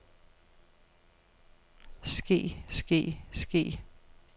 ske ske ske